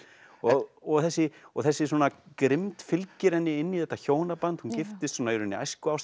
og og þessi og þessi svona grimmd fylgir henni inn í þetta hjónaband hún giftist í rauninni